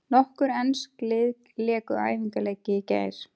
Nokkur ensk lið léku æfingaleiki í gær.